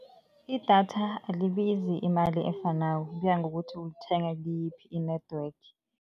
Idatha alibizi imali efanako, kuya ngokuthi ulithenga kiyiphi i-network.